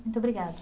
Muito obrigada.